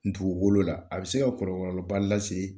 dugukolo la a bɛ se ka kɔlɔlɔba lase